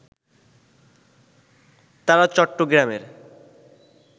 তারা চট্টগ্রামের